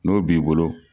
N'o b'i bolo